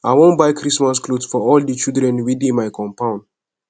i wan buy christmas cloth for all di children wey dey my compound